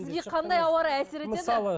сізге қандай ауа райы әсер етеді